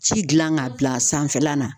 Ci gilan k'a bila a sanfɛla la